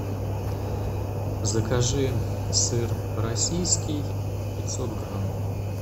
закажи сыр российский пятьсот грамм